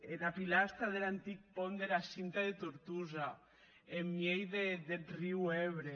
ena pilastra der antic pònt dera cinta de tortosa en miei deth riu ebre